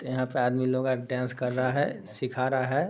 यहाँ पे आदमी लोग आर डांस कर रहा है सीखा रहा है।